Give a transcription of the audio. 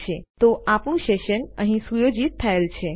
ઠીક છે તો આપણું સેશન અહીં સુયોજિત થયેલ છે